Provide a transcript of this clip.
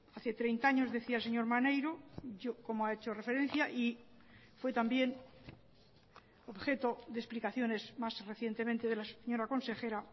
hace treinta años decía el señor maneiro como ha hecho referencia y fue también objeto de explicaciones más recientemente de la señora consejera